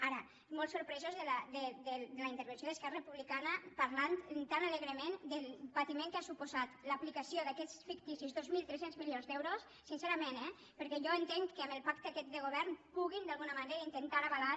ara molt sorpresos de la intervenció d’esquerra republicana parlant tan alegrement del patiment que han suposat l’aplicació d’aquests ficticis dos mil tres cents milions d’euros sincerament eh perquè jo entenc que amb el pacte aquest de govern puguin d’alguna manera intentar avalar